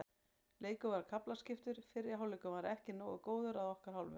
Leikurinn var kaflaskiptur, fyrri hálfleikurinn var ekki nógu góður að okkar hálfu.